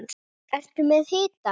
Ertu með hita?